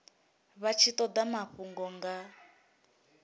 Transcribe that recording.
vha tshi toda mafhungo nga